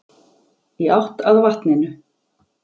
Í átt að vatninu.